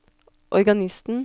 organisten